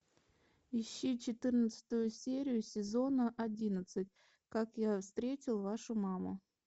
ищи четырнадцатую серию сезона одиннадцать как я встретил вашу маму